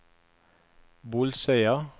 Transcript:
Bolsøya